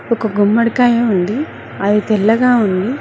ఒక గుమ్మడికాయ ఉంది అది తెల్లగా ఉంది.